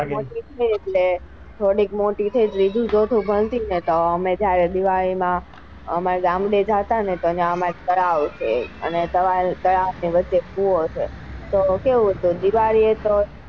થોડીક મોટી થઇ એટલે ત્રીજું ચોથું ભણતી એટલે તો અમે જયારે દિવાળી માં અમર ગામડે જતા ને તો ત્યાં અમર તળાવ છે અને તળાવ ની વચ્ચે કુવો છે તો કેવું હતું દિવાળી એ.